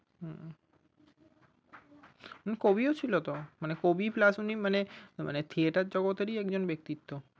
হুম উনি কবিও ছিলো তো মানে কবি pulse ঊনি মানে মানে theatre জগতেরই একজন ব্যক্তিত্ব।